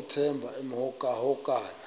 uthemba emhokamhokana